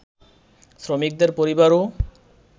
শ্রমিকদের পরিবারও